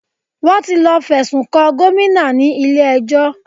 Wọ́n ti lọ fẹ̀sùn kan Gomina ní ilé ẹjọ́